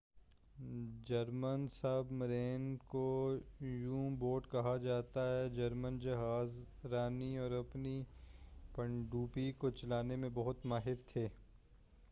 German submarine کو U boat کہا جا تا تھا جرمن جہاز رانی اور اپنی پن ڈبیوں کو چلانے میں بہت ماہر تھے